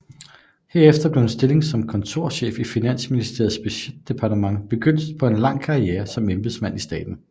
Herefter blev en stilling som kontorchef i Finansministeriets budgetdepartement begyndelsen på en lang karriere som embedsmand i staten